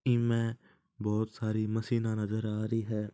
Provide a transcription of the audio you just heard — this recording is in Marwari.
इ में बहुत सारी मशीन नजर आ रही है।